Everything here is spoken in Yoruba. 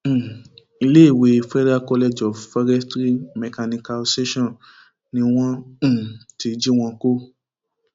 um iléèwé federal college of forestry mechanicalsation ni wọn um ti jí wọn kó